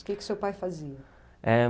O que que o seu pai fazia? Eh...